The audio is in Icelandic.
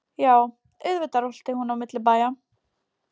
Já, auðvitað rölti hún á milli bæja.